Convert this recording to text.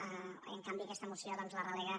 i en canvi aquesta moció doncs la relega